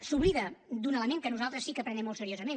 s’oblida d’un element que nosaltres sí que prenem molt seriosament